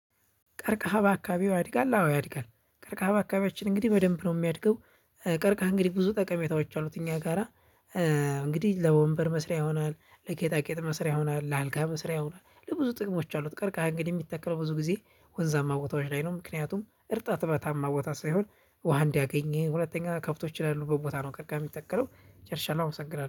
ቀርከሃ በአካባቢው ያድጋል አዎ ያድጋል ቀርከሃ በአካባቢያችን እንግዲህ በደንብ ነው የሚያድገው። ቀርቃሃ እንግዲህ ብዙ ጠቀሜታዎች አሉት እኛ ጋራ። እንግዲህ ለወንበር መስሪያ ይሆናል ለጌጣጌጥ መስሪያ ይሆናል ለአልጋ መስሪያ ይሆናል ለብዙ ጥቅሞች አሉት። ቀርቃሃ እንግዲህ የሚተከለው ብዙ ጊዜ ወንዛማ ቦታዎች ላይ ነው ምክንያቱም እርጥበታማ ቦታ ሳይሆን። ውሃ እንዲያገኝ ሁለተኛ ከብቶች ያሉበት ቦታ ነው ቀርከሃ የሚተከለው። ጨርሻለሁ አመሰግናለሁ